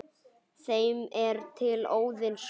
þeim er til Óðins koma